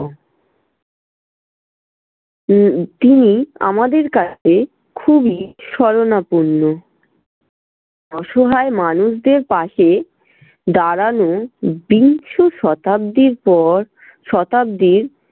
উম তিনি আমাদের কাছে খুবই স্বরণাপন্ন। অসহায় মানুষদের পশে দাঁড়ানো বিংশ শতাব্দীর পর শতাব্দীর